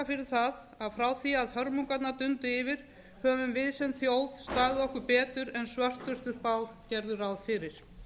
fyrir að frá því að hörmungarnar dundu yfir höfum við sem þjóð staðið okkur betur en svörtustu spár gerðu ráð fyrir